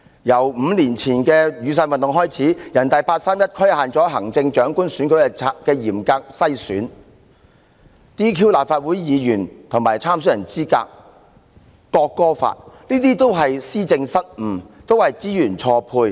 自5年前的雨傘運動始，人大八三一規限行政長官選舉須經嚴格"篩選"、取消立法會議員的議員資格和參選人的參選資格、推行國歌法等，均全屬施政失誤和資源錯配。